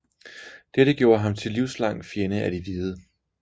Dette gjorde ham til livslang fjende af de hvide